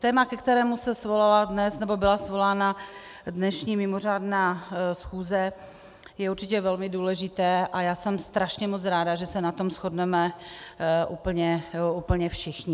Téma, ke kterému se svolala dnes, nebo byla svolána dnešní mimořádná schůze, je určitě velmi důležité a já jsem strašně moc ráda, že se na tom shodneme úplně všichni.